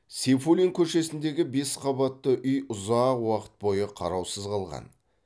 сейфуллин көшесіндегі бес қабатты үй ұзақ уақыт бойы қараусыз қалған